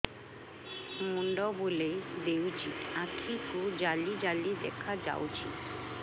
ମୁଣ୍ଡ ବୁଲେଇ ଦେଉଛି ଆଖି କୁ ଜାଲି ଜାଲି ଦେଖା ଯାଉଛି